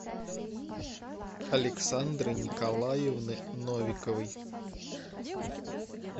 александры николаевны новиковой